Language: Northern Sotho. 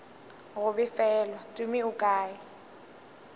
go befelwa tumi o kae